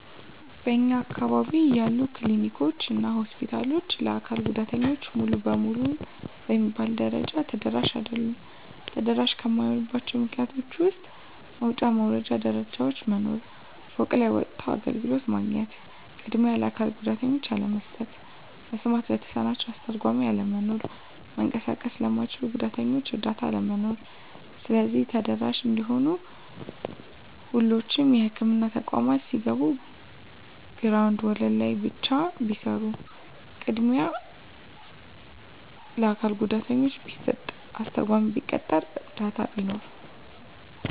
በእኛ አካባቢ ያሉ ክሊኒኮች እና ሆስፒታሎች ለአካል ጉዳተኞች ሙሉ በሙሉ በሚባል ደረጃ ተደራሽ አይደሉም። ተደራሽ ከማይሆኑባቸው ምክንያቶች ውስጥ መውጫ መውረጃ ደረጃዎች መኖር፤ ፎቅ ላይ ወጥቶ አገልግሎት ማግኘት፤ ቅድሚያ ለአካል ጉዳተኞች አለመስጠት፤ መስማት ለተሳናቸው አስተርጓሚ አለመኖር፤ መንቀሳቀስ ለማይችሉት ጉዳተኞች እረዳት አለመኖር። ስለዚህ ተደራሽ እንዲሆኑ ሁሎቹም የህክምና ተቋማት ሲገነቡ ግራውንድ ወለል ላይ ብቻ ቢሰሩ፤ ቅድሚያ ለአካል ጉዳተኛ ቢሰጥ፤ አስተርጓሚ ቢቀጠር፤ እረዳት ቢኖር።